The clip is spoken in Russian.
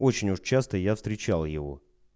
очень уж часто я встречал его